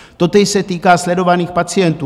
Totéž se týká sledovaných pacientů.